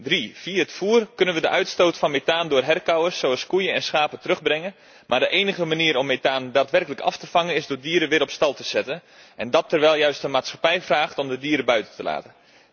Drie via het voer kunnen we de uitstoot van methaan door herkauwers zoals koeien en schapen terugbrengen, maar de enige manier om methaan daadwerkelijk af te vangen is door dieren weer op stal te zetten en dat terwijl juist de maatschappij vraagt om de dieren buiten te laten.